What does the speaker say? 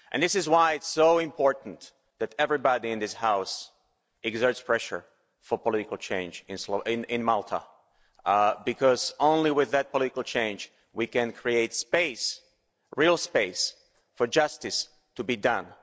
This is why it's so important that everybody in this House exerts pressure for political change in Malta, because only with that political change can we create space real space for justice to be done.